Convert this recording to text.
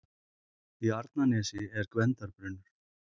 Í Arnarnesi er Gvendarbrunnur.